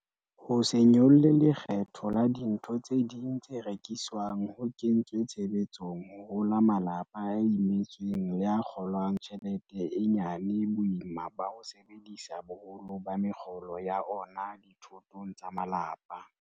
Ho se nyolle lekgetho la dintho tse ding tse rekiswang ho kentswe tshebetsong ho rola malapa a imetsweng le a kgo lang tjhelete e nyane boima ba ho sebedisa boholo ba mekgolo ya ona dithotong tsa malapa.